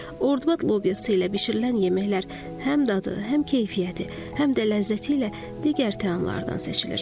Ordubad lobyası ilə bişirilən yeməklər həm dadı, həm keyfiyyəti, həm də ləzzəti ilə digər təamlardan seçilir.